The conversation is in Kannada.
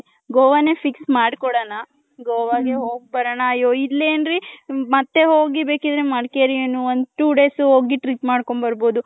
ಗೊವನೆ fix ಮಾಡ್ಕೊಳ್ಳೋಣ .ಗೋವಾಗೆ ಹೋಗಬರೋಣ ಅಯೂ ಇಲ್ಲಿ ಏನ್ರಿ ಮತ್ತೆ ಹೋಗಿ ಬೇಕಿದ್ರೆ ಮಡಕೇರಿ ಏನು ಒಂದ್ two days ಹೋಗಿ trip ಮಾಡ್ಕೊಂಡು ಬರ್ಬೌದು .